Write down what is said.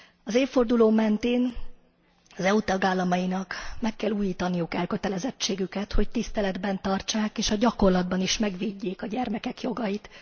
Az évforduló mentén az EU tagállamainak meg kell újítaniuk elkötelezettségüket, hogy tiszteletben tartsák és a gyakorlatban is megvédjék a gyermekek jogait.